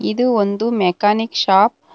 ಇದು ಒಂದು mechanic shop .